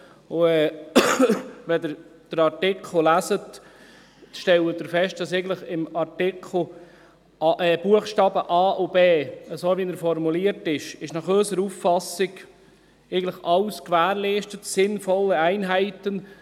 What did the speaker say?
Wenn Sie den Artikel lesen, stellen Sie fest, dass in den Buchstaben a und b, so wie sie formuliert sind, nach unserer Auffassung eigentlich alles gewährleistet ist: «sinnvolle Einheiten».